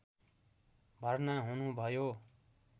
भर्ना हुनुभयो